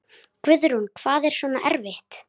Guðrún: Hvað er svona erfitt?